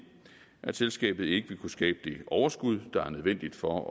at selskabet ikke ville kunne skabe det overskud der er nødvendigt for